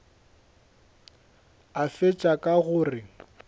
a fetša ka go re